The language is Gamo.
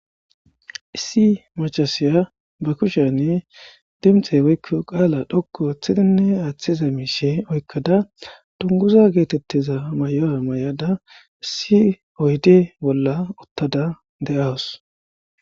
Issi macashiya ba kushiyani dinxe woykon qala dhoqu othidi mishe oykada dunguza getetiza maya mayada issi oyde bolla uttada de'awus